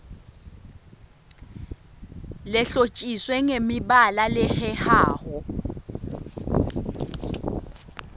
lehlotjiswe ngemibalabala lehehako